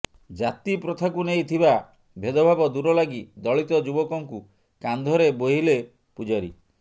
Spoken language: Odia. ଜାତିପ୍ରଥାକୁ ନେଇ ଥିବା ଭେଦ ଭାବ ଦୂର ଲାଗି ଦଳିତ ଯୁବକଙ୍କୁ କାନ୍ଧରେ ବୋହିଲେ ପୂଜାରୀ